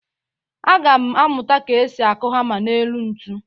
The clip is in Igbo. Aga m amụta ka esi akụ hama n'elu ntu.